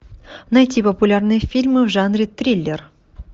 найти популярные фильмы в жанре триллер